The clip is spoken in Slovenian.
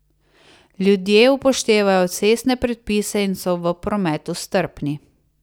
Ljudje upoštevajo cestne predpise in so v prometu strpni.